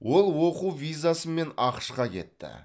ол оқу визасымен ақш қа кетті